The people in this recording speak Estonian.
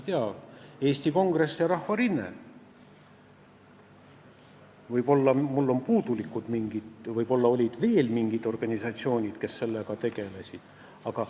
Eesti Kongress ja Rahvarinne – ma ei tea, võib-olla mul on mingid puudulikud teadmised, võib-olla olid veel mingid organisatsioonid, kes sellega tegelesid.